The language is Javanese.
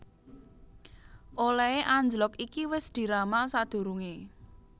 Olèhé anjlog iki wis diramal sadurungé